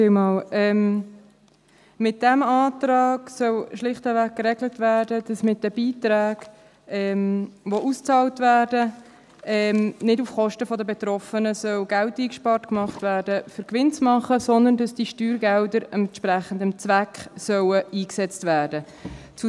Mit diesem Antrag soll schlichtweg geregelt werden, dass mit den Beiträgen, die ausbezahlt werden, nicht auf Kosten der Betroffenen Geld eingespart wird, um Gewinn zu machen, sondern dass diese Steuergelder entsprechend dem Zweck eingesetzt werden sollen.